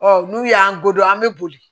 Ɔ n'u y'an godon an be boli